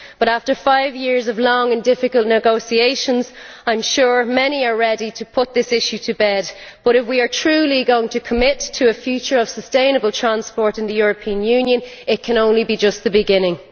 After five years of long and difficult negotiations, I am sure many are ready to put this issue to bed, but if we are truly going to commit to a feature of sustainable transport in the European Union, it can only be just the beginning.